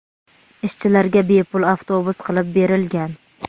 Ishchilarga bepul avtobus qilib berilgan.